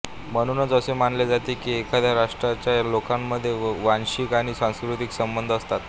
म्हणूनच असे मानले जाते की एखाद्या राष्ट्राच्या लोकांमध्ये वांशिक आणि सांस्कृतिक संबंध असतात